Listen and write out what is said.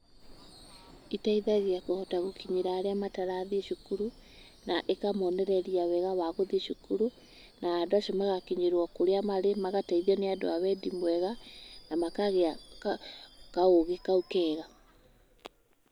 Ĩteithagia kũhota gũkinyĩra arĩa matarathiĩ cukuru na ĩkamonereria wega wa gũthiĩ cukuru, na andũ acio magakinyĩrwo kũrĩa marĩ, magateithio nĩ andũ a wendi mwega na makagĩa kaũgĩ kau kega.